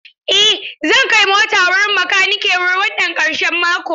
Eh zan kai mota wurin makanike wannan ƙarshen mako.